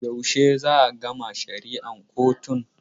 Yaushe za a gama shari'ar kotun?